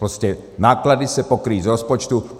Prostě náklady se pokryjí z rozpočtu.